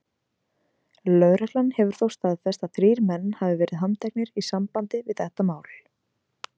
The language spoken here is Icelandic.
Lögreglan hefur þó staðfest að þrír menn hafi verið handteknir í sambandi við það mál.